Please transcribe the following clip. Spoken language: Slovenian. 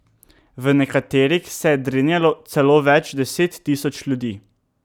V nekaterih se je drenjalo celo več deset tisoč ljudi.